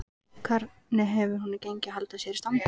Hvernig hefur honum gengið að halda sér í standi?